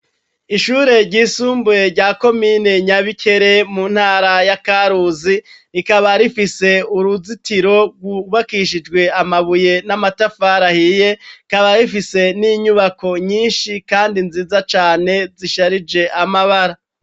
Ishure ry'isumbuye rya komine Nyabikere mu ntara yakaruzi rikaba rifise uruzitiro rgubakishijwe amabuye n'amatafari ahiye kaba rifise n'inyubako nyinshi kandi nziza cane zisharije amabara.